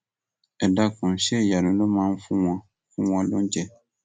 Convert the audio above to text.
ẹ dákun ṣe ìyanu ló máa fún wọn fún wọn lóúnjẹ